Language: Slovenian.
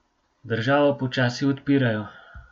Državo počasi odpirajo.